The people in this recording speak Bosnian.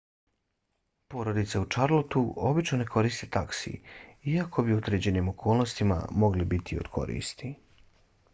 porodice u charlotteu obično ne koriste taksi iako bi u određenim okolnostima mogli biti od koristi